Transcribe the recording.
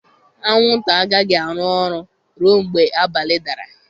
Anwụnta agaghị arụ ọrụ ruo mgbe abalị dara.